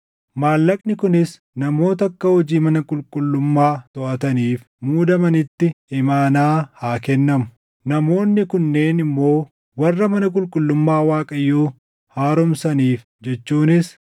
Maallaqni kunis namoota akka hojii mana qulqullummaa toʼataniif muudamanitti imaanaa haa kennamu. Namoonni kunneen immoo warra mana qulqullummaa Waaqayyoo haaromsaniif jechuunis,